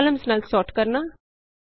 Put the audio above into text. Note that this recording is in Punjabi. ਕਾਲਮਸ ਨਾਲ ਸੋਰਟ ਕਰਨਾ